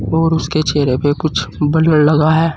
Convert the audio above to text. और उसके चेहरे पे कुछ बलर लगा है।